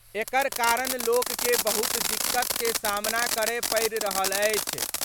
एकर कारण लोक के बहुत दिक्कत के सामना करय पड़ि रहल अछि।